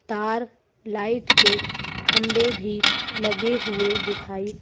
तार लाइट के खंबे भी लगे हुए दिखाई--